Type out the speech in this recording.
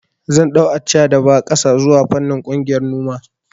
Zan ɗau Accha da ba ƙasa zuwa fannin ƙungiyar noma